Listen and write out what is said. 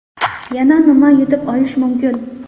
Yana nima yutib olish mumkin?